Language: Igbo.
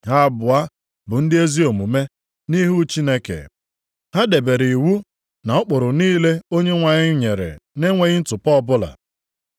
Ha abụọ bụ ndị ezi omume nʼihu Chineke. Ha debere iwu na ụkpụrụ niile Onyenwe anyị nyere na-enweghị ntụpọ ọbụla.